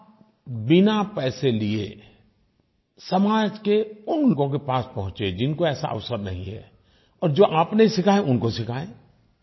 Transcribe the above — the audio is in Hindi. आप बिना पैसे लिये समाज के उन लोगों के पास पहुँचे जिनको ऐसा अवसर नहीं है और जो आपने सीखा है उनको सिखायें